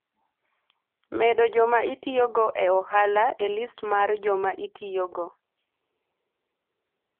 medo joma itiyogo e ohala e list mar joma itiyogo